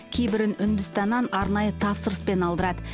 кейбірін үндістаннан арнайы тапсырыспен алдырады